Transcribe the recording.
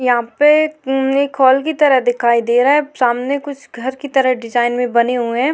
यहां पे एक अम्म हॉल की तरह दिखाई दे रहा है सामने कुछ घर की तरह डिजाइन में बने हुए है।